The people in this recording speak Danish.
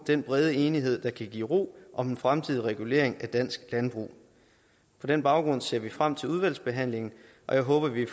den brede enighed der kan give ro om den fremtidige regulering af dansk landbrug på den baggrund ser vi frem til udvalgsbehandlingen og jeg håber at vi